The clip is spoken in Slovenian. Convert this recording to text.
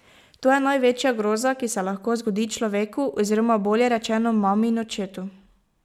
To je največja groza, ki se lahko zgodi človeku oziroma, bolje rečeno, mami in očetu.